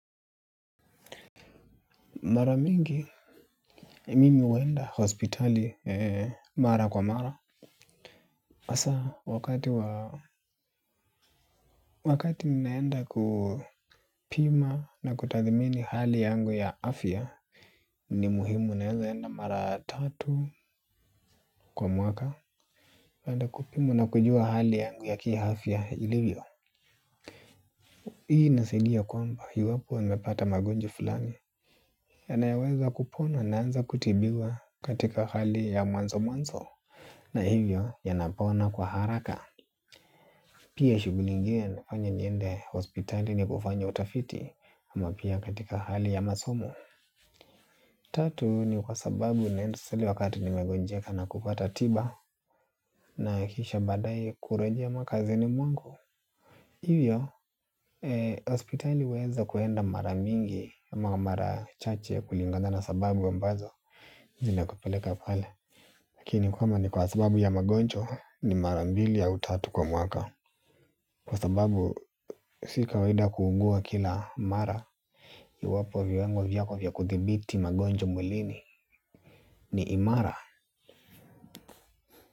Mara mingi, mimi huenda hospitali mara kwa mara. Hasa, wakati wakati ninaenda kupima na kutathmini hali yangu ya afya, ni muhimu naweza enda mara tatu kwa mwaka. Ninaenda kupima na kujua hali yangu ya kiafya ilivyo. Hii inasaidia kwamba, hii iwapo nimepata magonjwa fulani yanayoweza kupona naanza kutibiwa katika hali ya mwanzo mwanzo. Na hivyo, yanapona kwa haraka. Pia shughuli ingine imefanya niende hospitali ni kufanya utafiti ama pia katika hali ya masomo. Tatu ni kwa sababu naenda hospitali wakati nimegonjeka na kupata tiba na kisha baadae kurejea makazini mwangu. Hivyo, hospitali huweza kwenda mara mingi ya mara chache kulingana na sababu ambazo zinakupeleka pale. Lakini kwamba ni kwa sababu ya magonjwa ni mara mbili au tatu kwa mwaka. Kwa sababu si kawaida kuugua kila mara iwapo viwango vyako vya kuthibiti magonjwa mwilini ni imara.